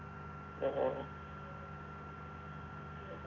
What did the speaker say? അഹ് ആഹ് അഹ്